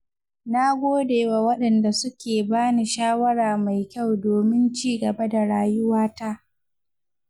Na gode wa wadanda suke bani shawara mai kyau domin cigaba da rayuwata.